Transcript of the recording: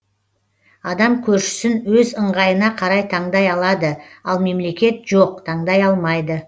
адам көршісін өз ыңғайына қарай таңдай алады ал мемлекет жоқ таңдай алмайды